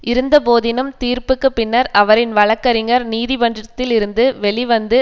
இருந்தபோதினும் தீர்ப்புக்கு பின்னர் அவரின் வழக்கறிஞ்ஞர் நீதிமன்றத்திலிருந்து வெளிவந்து